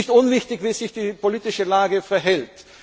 Gute. Es ist nicht unwichtig, wie sich die politische Lage verhält.